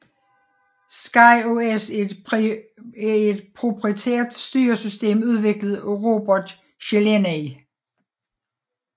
SkyOS er et proprietært styresystem udviklet af Robert Szeleney